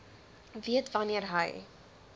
weet wanneer hy